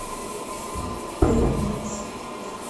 первомайск